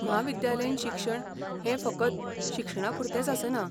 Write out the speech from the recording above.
म्हाविद्यालयीन शिक्षण हें फकत शिक्षणापुरतेंच आसना.